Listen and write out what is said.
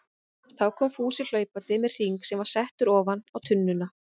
Þá kom Fúsi hlaupandi með hring sem var settur ofan á tunnuna.